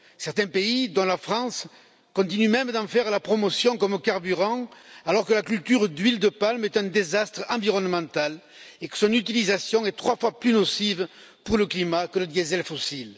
Certains pays, dont la France, continuent même d'en faire la promotion comme carburant, alors que la culture d'huile de palme est un désastre environnemental et que son utilisation est trois fois plus nocive pour le climat que le diesel fossile.